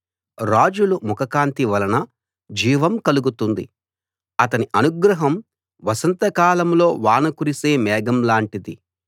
రాజుల ముఖకాంతి వలన జీవం కలుగుతుంది అతని అనుగ్రహం వసంతకాలంలో వాన కురిసే మేఘం లాంటిది